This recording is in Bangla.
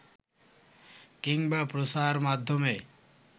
কিংবা প্রচারমাধ্যমে